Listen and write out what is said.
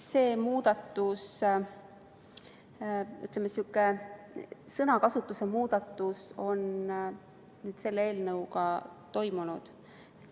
Selline sõnakasutuse muudatus on selle eelnõuga kavas.